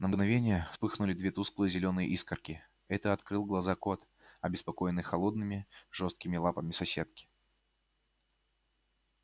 на мгновение вспыхнули две тусклые зелёные искорки это открыл глаза кот обеспокоенный холодными жёсткими лапами соседки